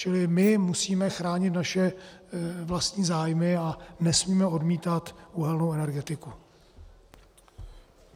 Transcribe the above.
Čili my musíme chránit naše vlastní zájmy a nesmíme odmítat uhelnou energetiku.